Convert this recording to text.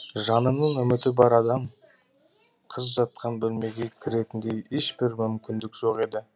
жанының үміті бар адам қыз жатқан бөлмеге кіретіндей ешбір мүмкіндік жоқ еді